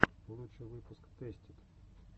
лучший выпуск тэстид